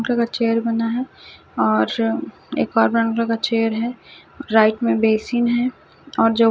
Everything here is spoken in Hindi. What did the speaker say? लगा चेयर बना है और एक और बना लगा चेयर है राइट में बेसिन है और जो --